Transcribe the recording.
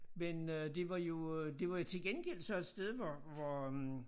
Men øh det var jo øh det var jo til gengæld så et sted hvor hvor øh